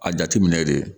A jateminɛ de